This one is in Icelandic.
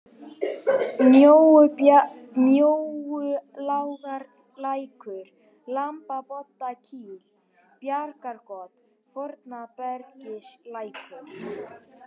Mjóulágarlækur, Lamboddakíll, Bæjargjót, Fornabergislækur